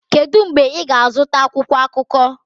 Kedu mgbe ị ga-azụta akwụkwọ akụkọ?